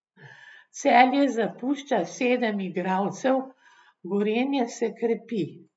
Celje zapušča sedem igralcev, Gorenje se krepi.